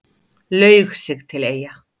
Laug sig til Eyja